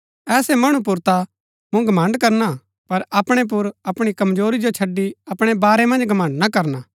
ऐसै मणु पुर ता मूँ घमण्ड़ करणा पर अपणै पुर अपणी कमजोरी जो छड़ी अपणै बारै मन्ज घमण्ड़ ना करणा